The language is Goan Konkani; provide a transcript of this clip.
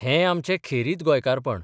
हे आमचें खेरीत गोंयकारपण.